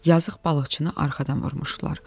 Yazıq balıqçını arxadan vurmuşdular.